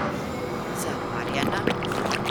Za Marjana.